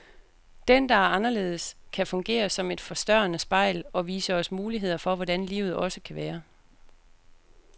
Den, der er anderledes, kan fungere som et forstørrende spejl, og vise os muligheder for hvordan livet også kan være.